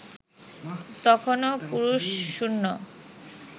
তখনো পুরুষশূন্য